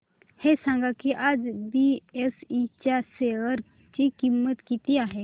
हे सांगा की आज बीएसई च्या शेअर ची किंमत किती आहे